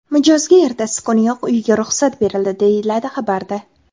Mijozga ertasi kuniyoq uyiga ruxsat berildi, deyiladi xabarda.